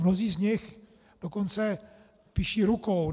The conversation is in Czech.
Mnozí z nich dokonce píší rukou.